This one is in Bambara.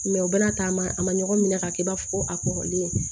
u bɛna taama a man ɲɔgɔn minɛ ka kɛ i b'a fɔ ko a kɔrɔlen